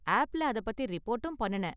ஆப்ல அதைப் பத்தி ரிப்போர்ட்டும் பண்ணுனேன்.